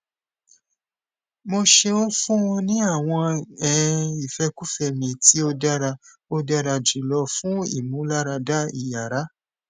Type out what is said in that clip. mo ṣeun fun u ni awọn um ifẹkufẹ mi ti o dara o dara julọ fun imularada iyara